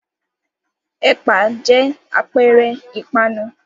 Ẹ̀pà jẹ́ àpẹẹrẹ ìpanu.